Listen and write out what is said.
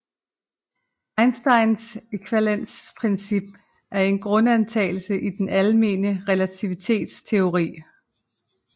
Einsteins ækvivalensprincip er en grundantagelse i den almene relativitetsteori